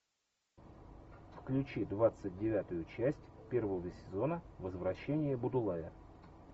включи двадцать девятую часть первого сезона возвращение будулая